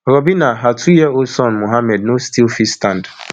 robina her two year old son mohammed no still fit stand